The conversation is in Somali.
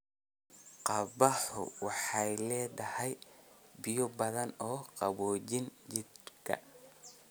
Qabaxu waxay leedahay biyo badan oo qaboojiya jidhka.